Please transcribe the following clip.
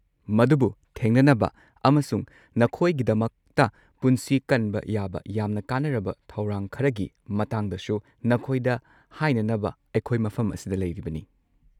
ꯃꯗꯨꯕꯨ ꯊꯦꯡꯅꯅꯕ ꯑꯃꯁꯨꯡ ꯅꯈꯣꯏꯒꯤꯗꯃꯛꯇ ꯄꯨꯟꯁꯤ ꯀꯟꯕ ꯌꯥꯕ ꯌꯥꯝꯅ ꯀꯥꯟꯅꯔꯕ ꯊꯧꯔꯥꯡ ꯈꯔꯒꯤ ꯃꯇꯥꯡꯗꯁꯨ ꯅꯈꯣꯏꯗ ꯍꯥꯏꯅꯅꯕ ꯑꯩꯈꯣꯏ ꯃꯐꯝ ꯑꯁꯤꯗ ꯂꯩꯔꯤꯕꯅꯤ꯫